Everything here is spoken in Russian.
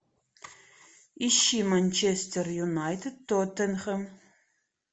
ищи манчестер юнайтед тоттенхэм